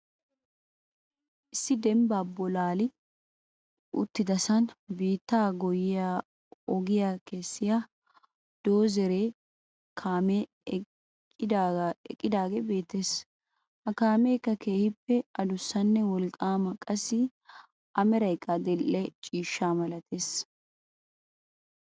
Issi dembba bullaali uttidasaan biittaa goyyiyaa ogiyaa kessiya doozzere kaamee eqqidaagee beettees. Ha kaameekka keehippe addussanne wolqqaama qassi a meraykka adil"e dhdhe ciishsha malattees.